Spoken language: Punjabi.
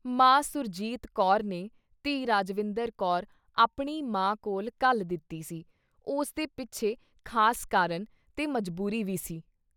ਮਾਂਂ ਸੁਰਜੀਤ ਕੌਰ ਨੇ ਧੀ ਰਾਜਵਿੰਦਰ ਕੌਰ ਆਪਣੀ ਮਾਂ ਕੋਲ਼ ਘੱਲ ਦਿੱਤੀ ਸੀ ਉਸਦੇ ਪਿੱਛੇ ਖਾਸ ਕਾਰਨ ਤੇ ਮਜ਼ਬੂਰੀ ਵੀ ਸੀ।